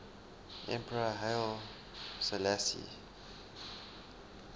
emperor haile selassie